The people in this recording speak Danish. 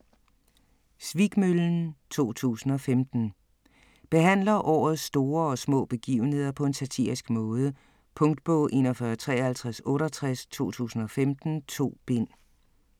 Svikmøllen 2015 Behandler årets store og små begivenheder på en satirisk måde. Punktbog 415368 2015. 2 bind.